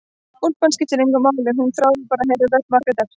Úlpan skipti engu máli, hún þráði bara að heyra rödd Margrétar.